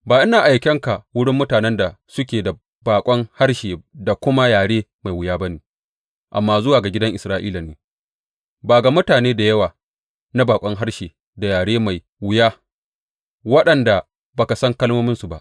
Ba ina aikan ka wurin mutanen da suke da baƙon harshe da kuma yare mai wuya ba ne, amma zuwa ga gidan Isra’ila ne, ba ga mutane da yawa na baƙon harshe da yare mai wuya, waɗanda ba ka san kalmominsu ba.